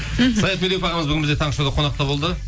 мхм саят медеуов ағамыз бүгін бізде таңғы шоуда қонақта болды